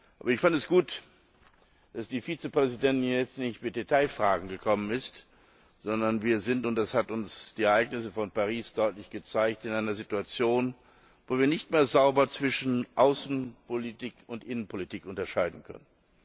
Aber ich fand es gut, dass die Vizepräsidentin hier jetzt nicht mit Detailfragen gekommen ist, sondern wir sind und das haben uns die Ereignisse von Paris deutlich gezeigt in einer Situation, wo wir nicht mehr sauber zwischen Außenpolitik und Innenpolitik unterscheiden können.